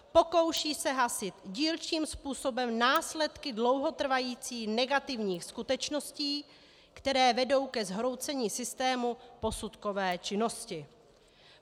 Pokouší se hasit dílčím způsobem následky dlouhotrvajících negativních skutečností, které vedou ke zhroucení systému posudkové činnosti.